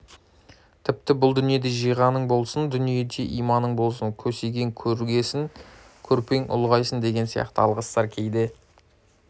тіпті бұл дүниеде жиғаның болсын дүниеде иманың болсын көсегең көгерсін көрпең ұлғайсын деген сияқты алғыстар кейде